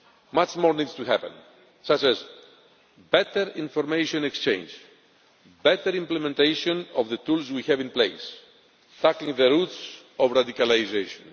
Much more needs to happen, such as better information exchange, better implementation of the tools we have in place and tackling the roots of radicalisation.